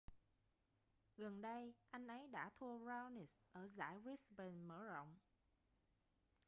gần đây anh ấy đã thua raonic ở giải brisbane mở rộng